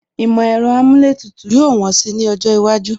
Ìmọ̀ ẹ̀rọ amúlétùtù yóò wọ́n si ní ọjọ́ iwájú